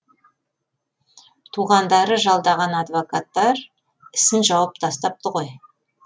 туғандары жалдаған адвокаттар ісін жауып тастапты ғой